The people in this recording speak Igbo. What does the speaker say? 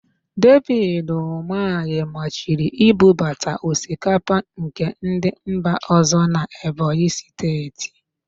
Devid Ụmahị maachiri ibubata osikapa nke ndị mba ọ̀zọ́ n'Ebonyi Steeti.